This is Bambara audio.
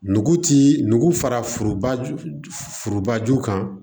Nugu ti nugu fara forobaju kan